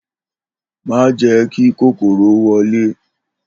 Má jè ̩é̩ kí kòkòrò wo̩lé!